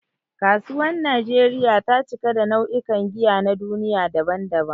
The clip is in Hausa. Kasuwar Najeriya ta cika da nau'ikan giya na duniya daban-daban.